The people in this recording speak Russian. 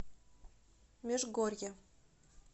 межгорье